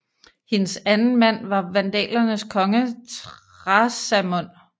Hendes anden mand var vandalernes konge Thrasamund